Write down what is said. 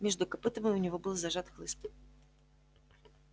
между копытами у него был зажат хлыст